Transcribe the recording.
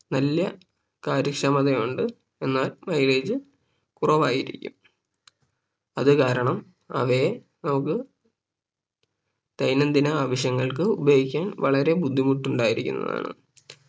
നല്ല കാര്യക്ഷമത ഉണ്ട് എന്നാൽ Mileage കുറവായിരിക്കും അത് കാരണം അവയെ നമുക്ക് ദൈനന്തിന ആവശ്യങ്ങൾക്ക് ഉപയോഗിക്കാൻ വളരെ ബുദ്ധിമുട്ട് ഉണ്ടായിരിക്കുന്നതാണ്